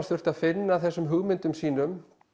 þurfti að finna þessum hugmyndum sínum